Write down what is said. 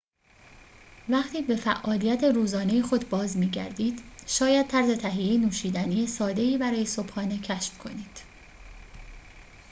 وقتی به فعالیت روزانه خود باز می‌گردید شاید طرز تهیه نوشیدنی ساده‌ای برای صبحانه کشف کنید